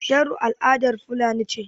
Sharo al'adar fulani ce.